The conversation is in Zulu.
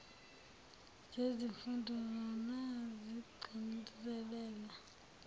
zezifundo zona zigcizelela